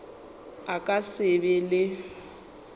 a ka se be le